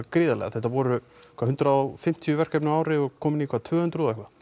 gríðarlega þetta voru hvað hundrað og fimmtíu verkefni á ári og er komið í tvö hundruð og eitthvað